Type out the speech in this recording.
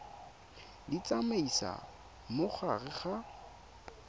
di tsamaisa mo gare ga